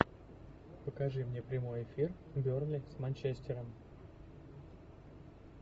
покажи мне прямой эфир бернли с манчестером